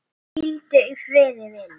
Hvíldu í friði, vinur.